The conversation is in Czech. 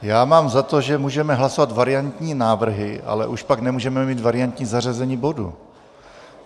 Já mám za to, že můžeme hlasovat variantní návrhy, ale už pak nemůžeme mít variantní zařazení bodu.